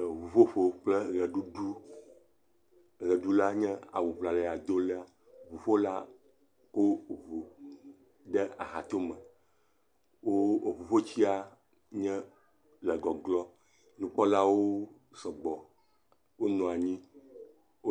Eŋuƒoƒo kple ʋeɖuɖu ʋeɖula nye awu ŋlayadola, ŋuƒola wo fɔ ŋu ɖe axatome, ŋuƒotia wole gɔglɔm. Ŋuƒolawo